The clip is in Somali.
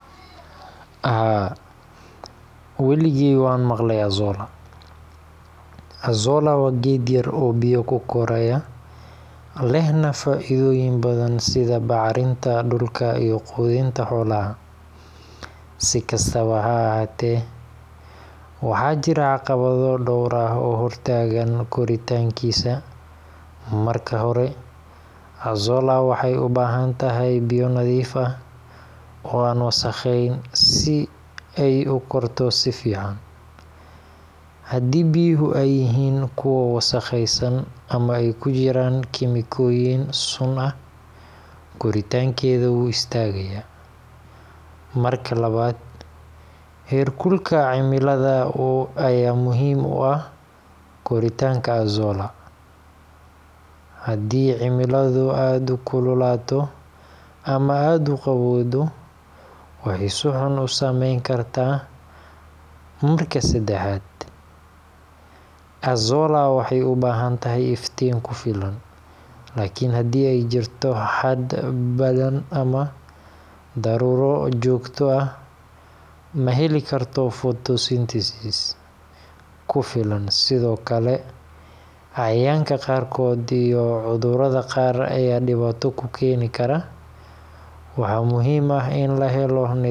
Haa, weligay waan maqlay Azolla. Azolla waa geed yar oo biyo ku koraya, lehna faa’iidooyin badan sida bacrinta dhulka iyo quudinta xoolaha. Si kastaba ha ahaatee, waxaa jira caqabado dhowr ah oo hortaagan koritaankiisa. Marka hore, Azolla waxay u baahan tahay biyo nadiif ah oo aan wasakhayn si ay u korto si fiican. Haddii biyuhu ay yihiin kuwo wasakhaysan ama ay ku jiraan kiimikooyin sun ah, koritaankeeda wuu istaagayaa. Marka labaad, heerkulka cimilada ayaa muhiim u ah koritaanka Azolla. Haddii cimiladu aad u kululaato ama aad u qabowdo, waxay si xun u saameyn kartaa. Marka saddexaad, Azolla waxay u baahan tahay iftiin ku filan, laakiin haddii ay jirto hadh badan ama daruuro joogto ah, ma heli karto photosynthesis ku filan. Sidoo kale, cayayaanka qaarkood iyo cudurrada qaar ayaa dhibaato ku keeni kara. Waxaa muhiim ah in la helo nidaam joogto ah.